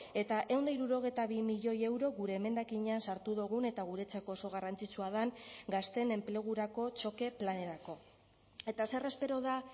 eta ehun eta hirurogeita bi milioi euro gure emendakinean sartu dugun eta guretzako oso garrantzitsua den gazteen enplegurako txoke planerako eta zer espero da